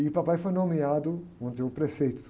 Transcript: E o papai foi nomeado, vamos dizer, o prefeito.